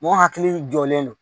Mɔgɔ hakili jɔlen don